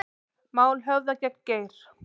Mál höfðað gegn Geir